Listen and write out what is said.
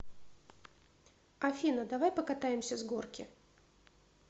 афина давай покатаемся с горки